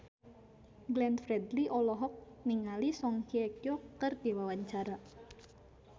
Glenn Fredly olohok ningali Song Hye Kyo keur diwawancara